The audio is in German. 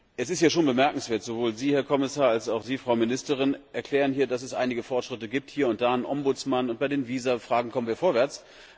Es ist ja schon bemerkenswert Sowohl Sie, Herr Kommissar, als auch Sie, Frau Ministerin, erklären hier, dass es einige Fortschritte gibt, hier und da ein Ombudsmann, und bei den Visafragen kommen wir vorwärts.